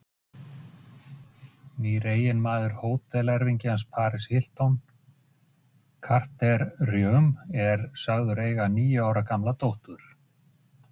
Stundum er það jafnvel gert með ærnum tilkostnaði.